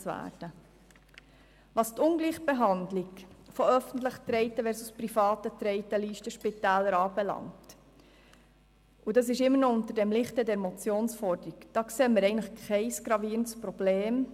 Was die Ungleichbehandlung von öffentlich getragenen versus privat getragenen Listenspitälern anbelangt, sehen wir eigentlich kein gravierendes Problem.